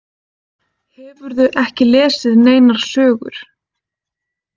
Hefurðu ekki lesið neinar sögur?